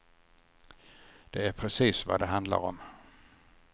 Det är precis vad det handlar om.